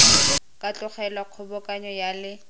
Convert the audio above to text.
ka tlogelwa kgobokanyo ya le